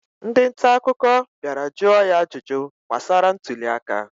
Ndị nta akụkọ bịara jụọ ya ajụjụ gbasara ntụli aka